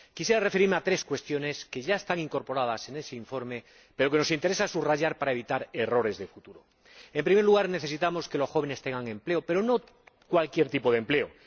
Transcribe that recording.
Quisiera referirme a tres cuestiones que ya están incorporadas en ese informe pero que nos interesa subrayar para evitar errores de futuro en primer lugar, necesitamos que los jóvenes tengan empleo, pero no cualquier tipo de empleo